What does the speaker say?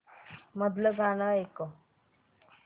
मधलं गाणं ऐकव